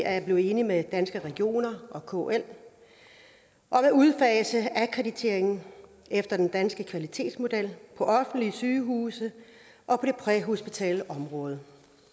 er blevet enige med danske regioner og kl om at udfase akkreditering efter den danske kvalitetsmodel på offentlige sygehuse og på det præhospitale område